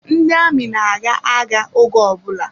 Ndị amị na-aga agha oge ọbụla.